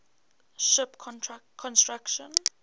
ship construction